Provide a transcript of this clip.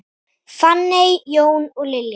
Fanney, Jón og Lilja.